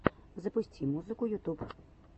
запусти музыка ютуб